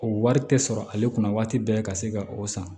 O wari tɛ sɔrɔ ale kunna waati bɛɛ ka se ka o san